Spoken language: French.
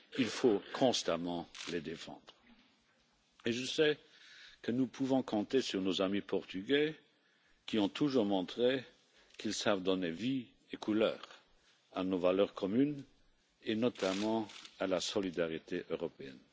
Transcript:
Il faut constamment les défendre et je sais que nous pouvons compter sur nos amis portugais qui ont toujours montré qu'ils savent donner vie et couleur à nos valeurs communes et notamment à la solidarité européenne.